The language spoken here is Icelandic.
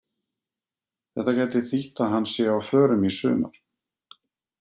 Þetta gæti þýtt að hann sé á förum í sumar.